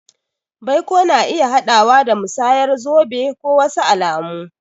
Baiko na iya haɗawa da musayar zobe ko wasu alamu.